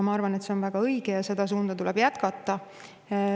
Ma arvan, et see on väga õige ja seda suunda tuleb jätkata.